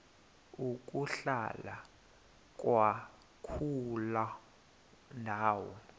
ukuhlala kwakuloo ndawo